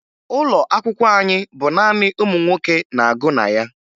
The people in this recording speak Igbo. Ụlọ akwụkwọ anyị bụ naanị ụmụ nwoke na-agụ na ya